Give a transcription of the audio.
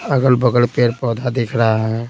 अगल-बगल पेड़-पौधा दिख रहा है।